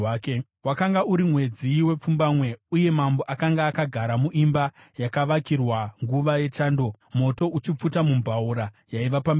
Wakanga uri mwedzi wepfumbamwe uye mambo akanga akagara muimba yakavakirwa nguva yechando, moto uchipfuta mumbaura yaiva pamberi pake.